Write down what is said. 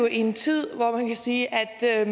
i en tid hvor man kan sige at der er